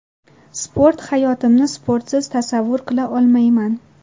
Sport Hayotimni sportsiz tasavvur qila olmayman.